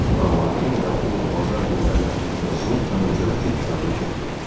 Amma yenə də o bazar günləri Zoltannın çörəkçi dükanına getmirdi.